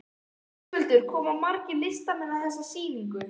Höskuldur, koma margir listamenn að þessari sýningu?